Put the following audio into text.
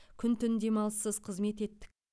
күн түн демалыссыз қызмет еттік